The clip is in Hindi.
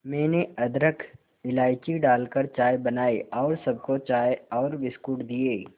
मैंने अदरक इलायची डालकर चाय बनाई और सबको चाय और बिस्कुट दिए